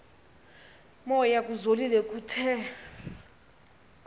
moya kuzolile kuthe